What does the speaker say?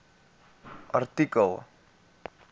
artikel